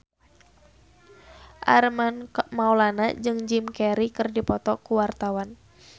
Armand Maulana jeung Jim Carey keur dipoto ku wartawan